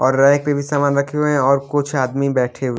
और रैक पे भी सामान रखे हुए हैं और कुछ आदमी बैठे हुए --